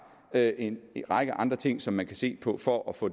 er en række andre ting som man kan se på for at få